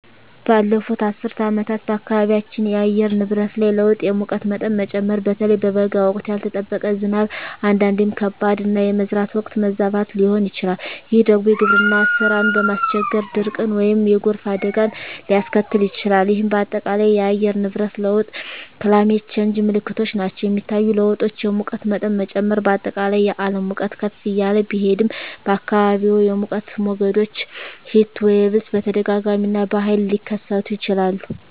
ባለፉት አስርት ዓመታት በአካባቢያችን የአየር ንብረት ላይ ለውጥ የሙቀት መጠን መጨመር (በተለይ በበጋ ወቅት)፣ ያልተጠበቀ ዝናብ (አንዳንዴም ከባድ)፣ እና የመዝራት ወቅት መዛባት ሊሆን ይችላል፤ ይህ ደግሞ የግብርና ሥራን በማስቸገር ድርቅን ወይም የጎርፍ አደጋን ሊያስከትል ይችላል፣ ይህም በአጠቃላይ የአየር ንብረት ለውጥ (Climate Change) ምልክቶች ናቸው. የሚታዩ ለውጦች: የሙቀት መጠን መጨመር: በአጠቃላይ የዓለም ሙቀት ከፍ እያለ ቢሄድም፣ በአካባቢዎም የሙቀት ሞገዶች (Heatwaves) በተደጋጋሚ እና በኃይል ሊከሰቱ ይችላሉ.